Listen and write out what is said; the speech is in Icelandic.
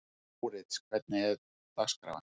Mórits, hvernig er dagskráin?